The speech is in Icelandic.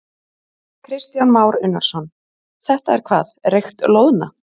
Kristján Már Unnarsson: Þetta er hvað reykt loðna?